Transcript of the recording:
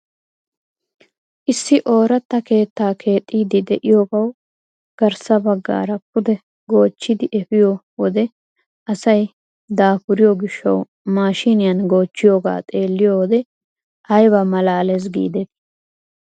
Issi ooratta keettaa keexxiidi de'iyoogawu garssa baggaara pude goochchidi epiyoo wode asay dapuriyoo gishshawu mashiniyaan goochchiyooga xeelliyoo wode ayba malaales gidetii!